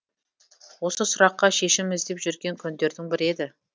осы сұраққа шешім іздеп жүрген күндердің бірі еді